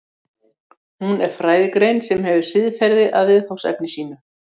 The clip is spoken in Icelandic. hún er fræðigrein sem hefur siðferði að viðfangsefni sínu